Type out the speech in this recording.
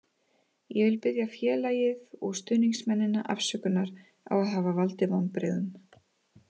Ég vil biðja félagið og stuðningsmennina afsökunar á að hafa valdið vonbrigðum.